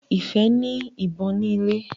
Ifẹ ní ìbọn ni ilè.